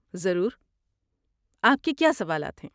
ضرور، آپ کے کیا سوالات ہیں؟